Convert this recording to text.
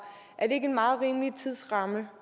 er ikke en meget rimelig tidsramme